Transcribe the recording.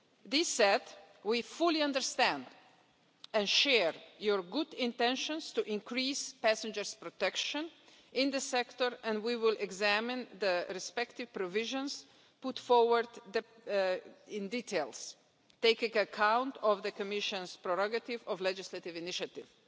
This said, we fully understand and share your good intentions to increase passengers' protection in the sector and we will examine the respective provisions put forward in detail taking account of the Commission's prerogative of legislative initiative.